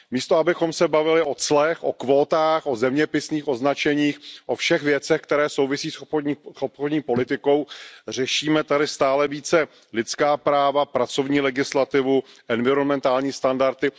Místo abychom se bavili o clech, o kvótách, o zeměpisných označeních, o všech věcech, které souvisí s obchodní politikou, řešíme tady stále více lidská práva, pracovní legislativu, environmentální standardy.